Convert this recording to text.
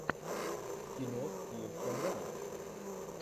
кино с кирстен данст